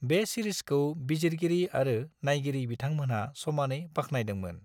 बे सिरिजखौ बिजिरगिरि आरो नायगिरि बिथांमोनहा समानै बाख्नायदोंमोन।